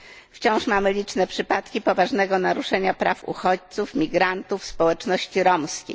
Wciąż mamy liczne przypadki poważnego naruszania praw uchodźców, migrantów, społeczności romskiej.